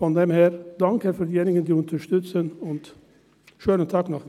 Von daher: Danke an diejenigen, die uns unterstützen, und einen schönen Tag noch.